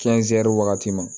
wagati ma